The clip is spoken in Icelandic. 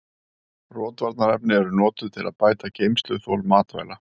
Rotvarnarefni eru notuð til að bæta geymsluþol matvæla.